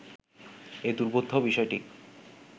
এই দুর্বোধ্য বিষয়টি